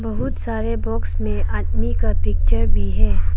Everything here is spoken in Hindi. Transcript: बहुत सारे बॉक्स में आदमी का पिक्चर भी है।